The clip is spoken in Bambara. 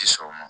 Ti sɔn o ma